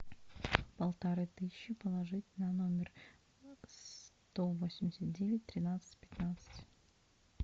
полторы тысячи положить на номер сто восемьдесят девять тринадцать пятнадцать